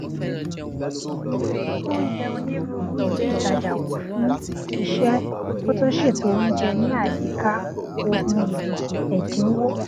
ó n yẹ onírúurú ilé ìtajà wò fún iṣẹ kó tó ṣètò oúnjẹ ní àyíká ohun èlò ẹdínwó